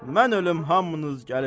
Mən ölüm hamınız gəlin.